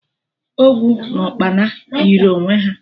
Ogwu na Ukpana yiri onwe ha